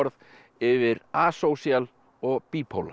yfir og